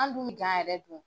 An dun bi yɛrɛ don.